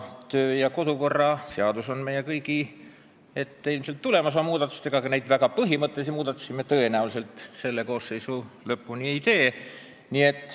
Riigikogu kodu- ja töökorra seaduses tahetakse ilmselt teha muudatusi, aga neid väga põhimõttelisi muudatusi me tõenäoliselt selles koosseisus ei tee.